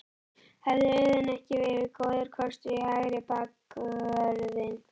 Hefði Auðun ekki verið góður kostur í hægri bakvörðinn?